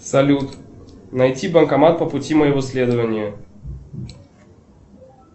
салют найти банкомат по пути моего следования